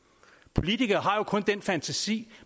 politikere har jo kun den fantasi